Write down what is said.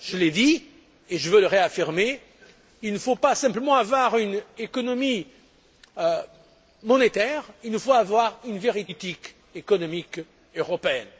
Je l'ai dit et je veux le réaffirmer il ne faut pas simplement avoir une économie monétaire, il nous faut avoir une véritable politique économique européenne.